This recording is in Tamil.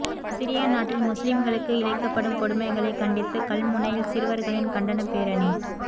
சிரியா நாட்டில் முஸ்லிம்களுக்கு இழைக்கப்படும் கொடுமைகளை கண்டித்து கல்முனையில் சிறுவர்களின் கண்டனப் பேரணி